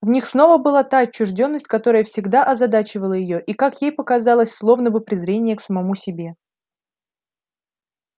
в них снова была та отчуждённость которая всегда озадачивала её и как ей показалось словно бы презрение к самому себе